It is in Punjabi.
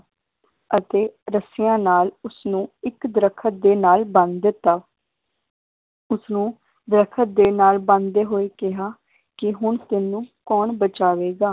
ਅਤੇ ਰੱਸੀਆਂ ਨਾਲ ਉਸਨੂੰ ਇੱਕ ਦਰਖਤ ਦੇ ਨਾਲ ਬੰਨ ਦਿੱਤਾ ਉਸਨੂੰ ਦਰਖਤ ਦੇ ਨਾਲ ਬੰਨਦੇ ਹੋਏ ਕਿਹਾ, ਕਿ ਹੁਣ ਤੈਨੂੰ ਕੌਣ ਬਚਾਵੇਗਾ?